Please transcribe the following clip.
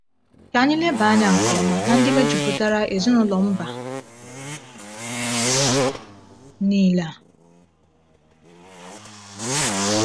Ka anyị leba anya nke ọma na ndị mejupụtara ezinụlọ mba niile a.